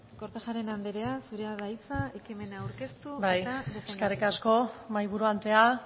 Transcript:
kortajarena anderea zurea da hitza ekimena eta defendatzeko bai eskerrik asko mahaiburu andrea